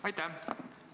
Aitäh!